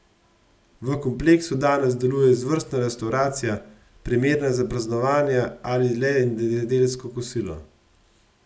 V kompleksu danes deluje izvrstna restavracija, primerna za praznovanja ali le nedeljsko kosilo.